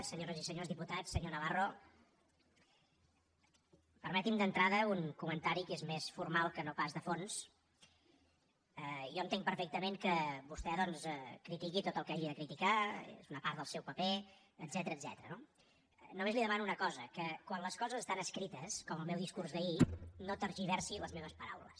senyores i senyors diputats senyor navarro permeti’m d’entrada un comentari que és més formal que no pas de fons jo entenc perfectament que vostè doncs critiqui tot el que hagi de criticar és una part del seu paper etcètera no només li demano una cosa que quan les coses estan escrites com el meu discurs d’ahir no tergiversi les meves paraules